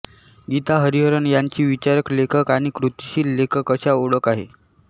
गीता हरिहरन यांची विचारक लेखक आणि कृतीशील लेखक अशा ओळख आहे